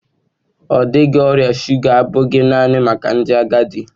Ọ dịghị, ọrịa shụga abụghị naanị maka ndị agadi.